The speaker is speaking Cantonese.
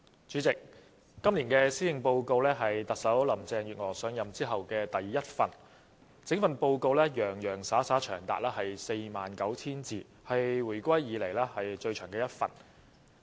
主席，這是特首林鄭月娥上任後的第一份施政報告，而且整份報告洋洋灑灑長達 49,000 字，是回歸以來最長的一份。